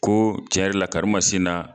Ko cɛn yɛrɛ la karimasinna